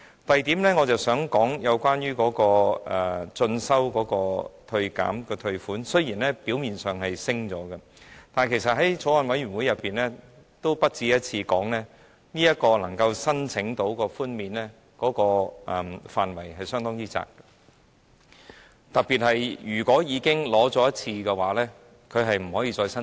第二，我想說的是關於個人進修開支的扣除額，雖然表面上增加了，但其實在法案委員會上，我也不止一次說，能夠申請寬免的範圍相當狹窄，特別是如果已經申請一次，便不可以再度申請。